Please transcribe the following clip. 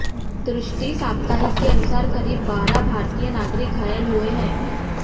दृष्टि साप्ताहिक के अनुसार करीब बारह भारतीय नागरिक घायल हुए हैं